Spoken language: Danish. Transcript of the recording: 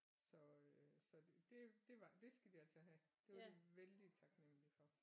Så øh så det det var det skal de altså have det var de vældig taknemmelig for